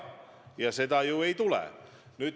Ja seda ju ei tule.